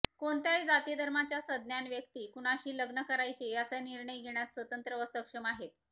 कोणत्याही जातीधर्माच्या सज्ञान व्यक्ती कुणाशी लग्न करायचे याचा निर्णय घेण्यास स्वतंत्र व सक्षम आहेत